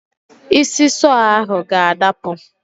Isi sọọ ahụ ga-adapụ.